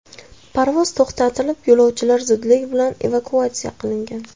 Parvoz to‘xtatilib, yo‘lovchilar zudlik bilan evakuatsiya qilingan.